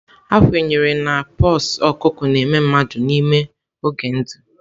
A kwenyere na pox ọkụkọ na-eme mmadụ n'ime oge ndụ.